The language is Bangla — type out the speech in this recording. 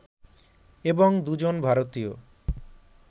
এবং দুজন ভারতীয়